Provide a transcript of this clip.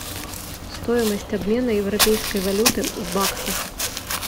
стоимость обмена европейской валюты в баксах